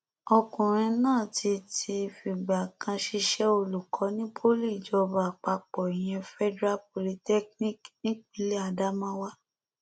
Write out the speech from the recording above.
ọkùnrin náà ti ti fìgbà kan ṣiṣẹ olùkọ ní poli ìjọba àpapọ ìyẹn federal polytechnic nípínlẹ adamawa